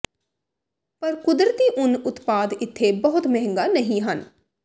ਪਰ ਕੁਦਰਤੀ ਉੱਨ ਉਤਪਾਦ ਇੱਥੇ ਬਹੁਤ ਮਹਿੰਗਾ ਨਹੀ ਹਨ